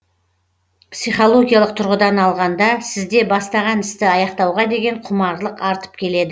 психологиялық тұрғыдан алғанда сізде бастаған істі аяқтауға деген құмарлық артып кетеді